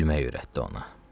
gülməyi öyrətdi ona.